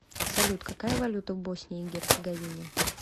салют какая валюта в боснии и герцеговине